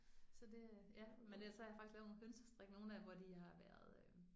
Så det ja men det så har jeg faktisk lavet nogle hønsestrik nogle af hvor de har været